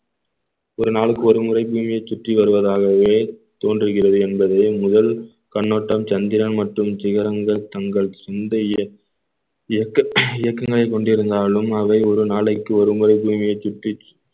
ஒரு நாளுக்கு ஒருமுறை பூமியை சுற்றி வருவதாகவே தோன்றுகிறது என்பது முதல் கண்ணோட்டம் சந்திரன் மற்றும் சிகரங்கள் தங்கள் சிந்தையை இயக்க இயக்கமாய் கொண்டிருந்தாலும் அவை ஒரு நாளைக்கு ஒருமுறை பூமியை சுற்றி